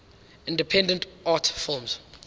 independent art films